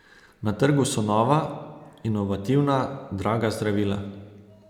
Na trgu so nova, inovativna, draga zdravila.